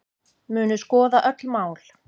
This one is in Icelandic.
Munu skoða öll mál